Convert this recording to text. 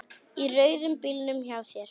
Í rauða bílnum hjá þér.